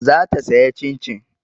Za ta sayi Cin-cin.